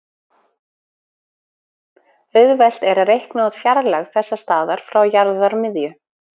auðvelt er að reikna út fjarlægð þessa staðar frá jarðarmiðju